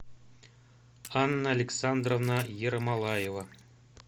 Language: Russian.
анна александровна ермолаева